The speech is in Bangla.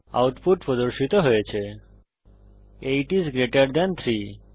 আউটপুট প্রদর্শিত হয়েছে160 8 আইএস গ্রেটের থান 3